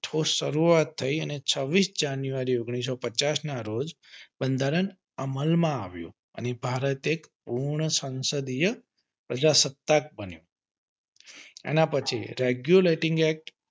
ઠોસ શરૂઆત થઇ અને છવીસ જાન્યુઆરી ઓન્ગ્લીસો પચાસ ના રોજ બંધારણ અમલ માં આવ્યું અને ભારત એ પૂર્ણ સંસદીય પ્રજાસસત્તાક બન્યું એના પછી regulating act